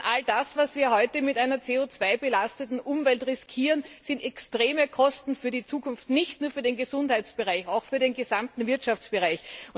Denn was wir heute mit einer CO 2 belasteten Umwelt riskieren, sind extreme Kosten für die Zukunft, nicht nur für den Gesundheitsbereich, auch für den gesamten Wirtschaftsbereich.